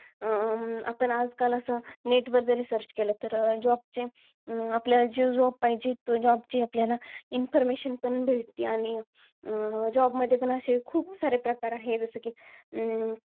आपण आजकाल net वर जरी search केलं तर job चे जे आपल्याला job पाहिजेत ते job चे आपल्याला information पण भेटती. आणि job मध्ये पण असे खूप सारे प्रकार आहे. जसे कि,